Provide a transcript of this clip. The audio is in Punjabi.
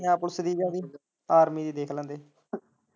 ਪੰਜਾਬ ਪੁਲਿਸ ਦੀ ਜਾਂ army ਦੀ ਦੇਖ ਲੈਂਦੇ।